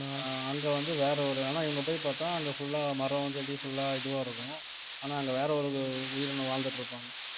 அங்க வந்து வேற ஒரு ஆனா இவங்க போய் பார்த்தா அங்க full ஆ மரம் செடி full ஆ இதுவா இருக்கும் ஆனா அங்க வேற ஒரு உயிரினம் வாழ்ந்துட்டு இருப்பாங்க